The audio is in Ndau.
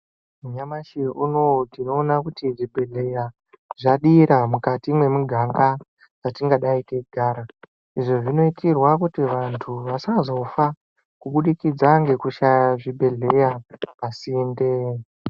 Nyamashi unowu tinoona kuti zvibhedhleya zvadira mukati mwemuganga watingadai teigara. Izvo zvinoitirwa kuti vantu vasazofa kubudikidza ngekushaya zvibhedhlera pasinde.